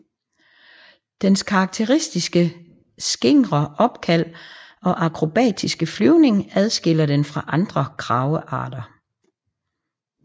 Dens karakteristiske skingre opkald og akrobatiske flyvning adskiller den fra andre kragearter